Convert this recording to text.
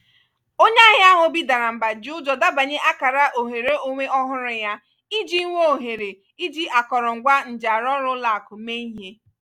onye ahịa ahụ obi dara mba ji ụjọ dabanye akara ohere onwe ọhụrụ yá iji nwee ohere iji akọrọngwa njiarụọrụ́ ụlọakụ mee ihe.